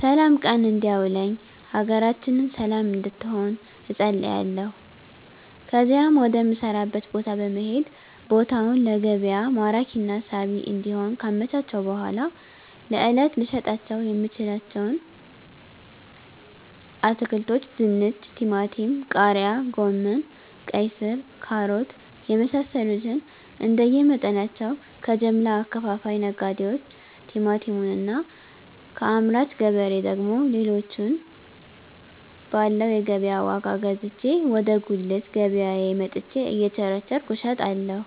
ስላም ቀን እንዲያውለኝ ሀገራችንን ሰለም እንድትሆን እፀልያለሁ ከዚያም ወደ ምሰራበት ቦታ በመሄድ ቦታውን ለገቢያ ማራኪና ሳቢ እንዲሆን ካመቻቸሁ በኃላ ለእለት ልሸጣቸው የምችለዉን አትክልቶች ድንች ቲማቲም ቃሪያ ጎመን ቀይስር ካሮት የመሳሰሉትንእንደየ መጠናቸው ከጀምላ አከፋፋይ ነጋዴዎች ቲማቲሙን እና ከአምራች ገበሬ ደግሞ ሌሎችን ባለው የገቢያ ዋጋ ገዝቼ ወደ ጉልት ገቢያየ መጥቸ እየቸረቸርኩ እሸጣለሁ